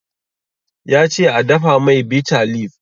Ya ce a dafa mai bitter leave.